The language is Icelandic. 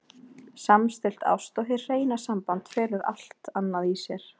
Samstillt ást og hið hreina samband felur allt annað í sér.